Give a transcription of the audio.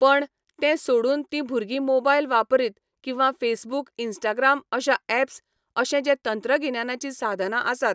पण, तें सोडून तीं भुरगीं मोबायल वापरीत किंवा फेसबुक इन्स्टाग्राम अश्या ऍप्स अशें जें तंत्रगिन्यानाची साधनां आसात